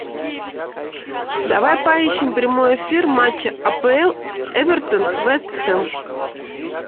давай поищем прямой эфир матча апл эвертон вест хэм